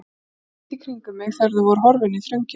Ég leit í kringum mig þegar þau voru horfin inn í þröngina.